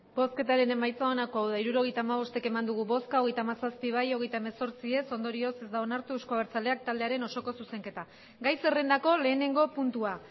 hirurogeita hamabost eman dugu bozka hogeita hamazazpi bai hogeita hemezortzi ez ondorioz ez da onartu euzko abertzaleak taldearen osoko zuzenketa gai zerrendako lehenengo puntua